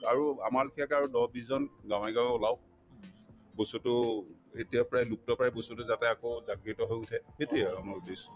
আৰু আমাৰ লেখিয়াকে আৰু দহ-বিশজন গাঁৱে-গাঁৱে ওলাওক বস্তুতো এতিয়া প্ৰায় লুপ্তপ্ৰায় বস্তুতো যাতে আকৌ জাগৃত হৈ উঠে সেইটোয়ে আৰু আমাৰ উদ্দেশ্য